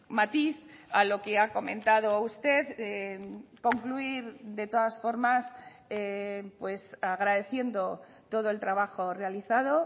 matiz a lo que ha comentado usted concluir de todas formas pues agradeciendo todo el trabajo realizado